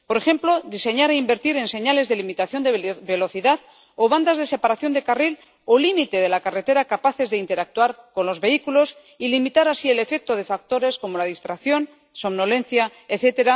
Por ejemplo, diseñar e invertir en señales de limitación de velocidad o bandas de separación de carril o límite de la carretera capaces de interactuar con los vehículos y limitar así el efecto de factores como la distracción, somnolencia, etc.,